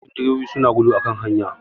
Yawancin direbobi su na gudu a kan hanya